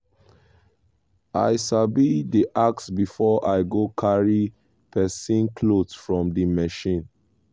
i sabi dey ask before i go carry person cloth from di machine.